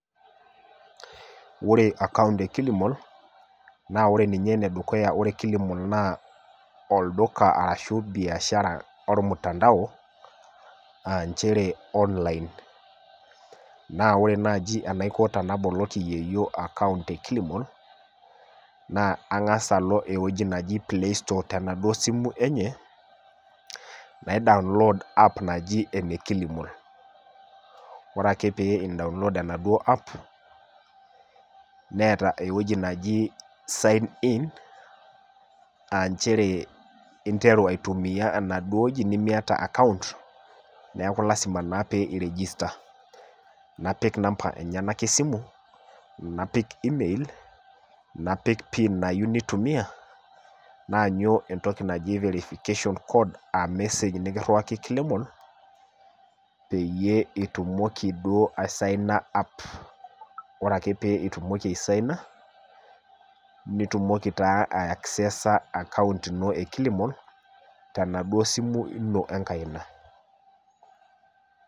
Wore account e kilimall, naa wore ninye enedukuya wore kilimall naa olduka arashu biashara ormutandao, aa nchere online. Naa wore naaji enaiko tenaboloki yieyio account e kilimall, naa angas alo ewueji naji play store tenaduo simu enye, na download app naji ene kilimall. Wore ake pee in download enaduo app, neeta ewoji naji sign in, aa nchere interu aitumia enaduo wueji nimiata account, neeku lasima naa pee iregista. Napik namba enyanak esimu, napik email, napik pin nayieu nitumia, naanyu entoki naji verification code aa message nikirriwaki kilimall, peeyie itumoki duo asaina app. Wore ake pee itumoki asaina. Nitumoki taa aiaccesa account ino e kilimall, tenaduo simu ino enkaina.